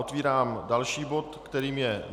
Otevírám další bod, kterým je